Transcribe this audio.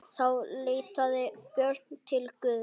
Þá leitaði Björn til Guðs.